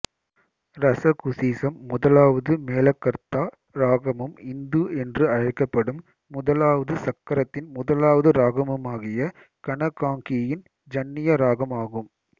ரசகுசீசம் முதலாவது மேளகர்த்தா இராகமும் இந்து என்று அழைக்கப்படும் முதலாவது சக்கரத்தின் முதலாவது இராகமுமாகிய கனகாங்கியின் ஜன்னிய இராகம் ஆகும்